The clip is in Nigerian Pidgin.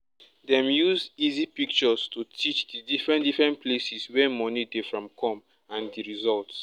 dem use easy pictures to teach di different different places wey money dey from come and di results